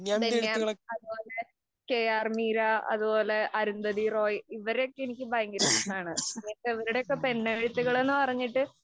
ബെന്യാമന്‍, അതുപോലെ തന്നെ കെ ആര്‍ മീര, അതുപോലെ അരുന്ധതിറോയ് ഇവരെയൊക്കെ എനിക്ക് ഭയങ്കര ഇഷ്ടമാണ്. ഇവരുടെയൊക്കെ പെണ്ണെഴുത്തുകള്‍ എന്ന് പറഞ്ഞിട്ട്